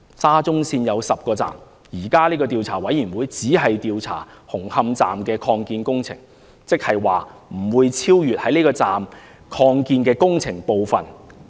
沙中線有10個站，現時的調查委員會只調查紅磡站的擴建工程，不會超出這個站的擴建工程部分。